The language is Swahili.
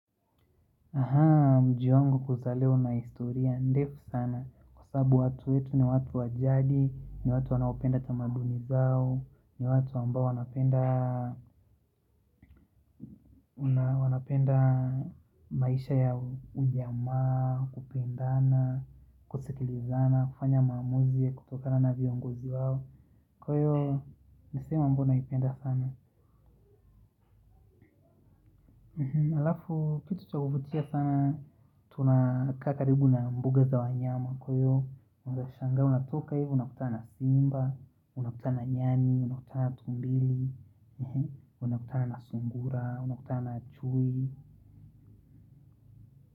Aha, mji wangu kuzaliwa una historia, ndefu sana. Kwa sababu watu wetu ni watu wa jadi, ni watu wanaopenda tamaduni zao. Ni watu ambao wanapenda wanapenda maisha ya ujamaa, kupendana, kusikilizana, kufanya maamuzi ya kutokana na viongozi wao. Kwa hiyo, ni sehemu ambayo naipenda sana halafu, kitu cha kuvutia sana, tunakaa karibu na mbuga za wanyama. Kwa hiyo, unaeza shangaa unatoka hivo unakuta na simba, unakuta na nyani, unakuta na tumbili, unakuta na sungura, unakuta na chui.